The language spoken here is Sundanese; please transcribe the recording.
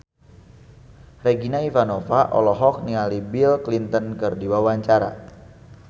Regina Ivanova olohok ningali Bill Clinton keur diwawancara